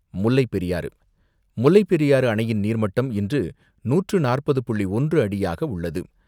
முல்லைப்பெரியாறு, முல்லைப்பெரியாறு அணையின் நீர்மட்டம் இன்று நூற்று நாற்பது புள்ளி ஒன்று அடியாக உள்ளது.